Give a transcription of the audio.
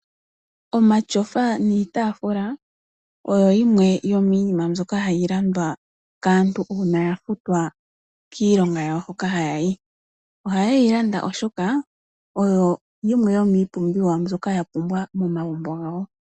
Omashofa niitaafula, oyo yimwe yomiinima mbyoka hayi landwa kaantu uuna ya futwa kiilonga yawo hoka haya yi. Ohaye yi landa oshoka, oyo yimwe yomiipumbiwa mbyoka ya pumbwa momagumbo gawo.